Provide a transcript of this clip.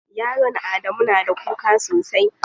Yaron Adamu na da kuka sosai.